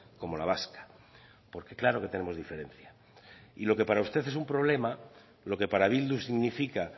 como la vasca porque claro que tenemos diferencia y lo que para usted es un problema lo que para bildu significa